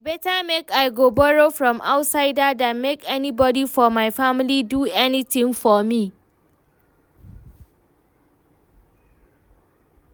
E beta make I go borrow from outsider than make anybody for my family do anything for me